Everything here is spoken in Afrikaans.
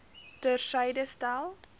ter syde stel